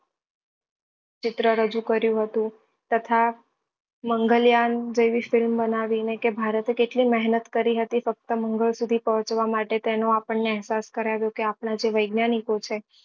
ચિત્ર રજુ કર્યું હતું તથા મંગલ્યાન જેવી film બનાવી ને કે ભારત એ કેટલી મહેનત કરી હતી ફક્ત મંગળ સુધી પહોચવા માટે તેનો આપણને ને અહેસાસ કરાવ્યો કે આપણા જે વૈજ્ઞાનિકો છે